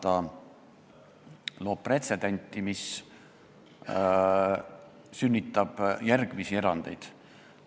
Erand loob pretsedendi, mis sünnitab järgmisi erandeid.